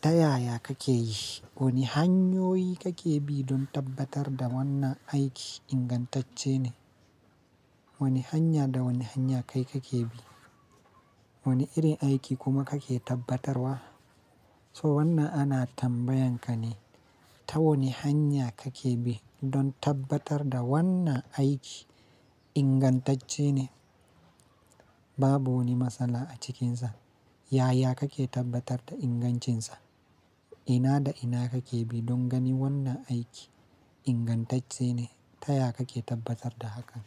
Ta yaya kake yi? Wane hanyoyi kake bi don tabbatar da wannan aiki ingantacce ne? Wane hanya da wane hanya kai kake bi? Wane irin aiki kuma kake tabbatarwa? So wannan ana tambayanka ne, ta wane hanya kake bi don tabbatar da wannan aiki ingantacce ne? Babu wani matsala a cikinsa. Yaya kake tabbatar da ingancinsa? Ina da ina kake bi don gani wannan aiki ingantacce ne? Ta ya kake tabbatar da hakan?